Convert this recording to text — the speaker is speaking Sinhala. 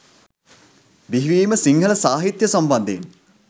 බිහිවීම සිංහල සාහිත්‍ය සම්බන්ධයෙන්